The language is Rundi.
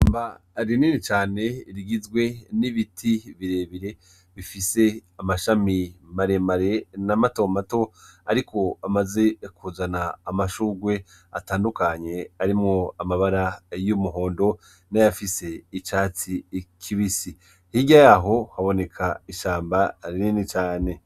Iriba rinini cane rigizwe n'ibiti birebire bifise amashami maremare na mato mato ariko amaze kuzana amashurwe atandukanye harimwo amabara y'umuhondo nayafise icatsi kibisi. Hirya yaho haboneka ishamba rinini cane.